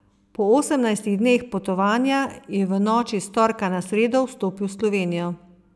Po osemnajstih dneh potovanja je v noči s torka na sredo vstopil v Slovenijo.